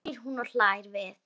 segir hún og hlær við.